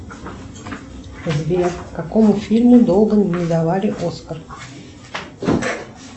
сбер какому фильму долго не давали оскар